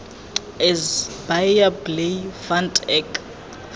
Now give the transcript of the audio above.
is baie bly want ek